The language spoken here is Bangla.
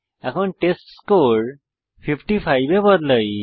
এখন টেস্টস্কোর 55 এ বদলাই